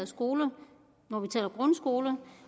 skoler når vi taler grundskoler